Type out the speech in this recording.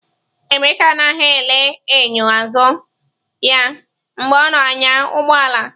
Emeka anaghị ele enyo azụ ya mgbe ọ na-anya ụgbọ ala.